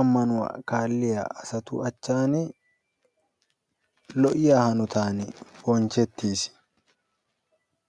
ammanuwa bonchiya asatu matan lo'iya hanotan bonchetiis.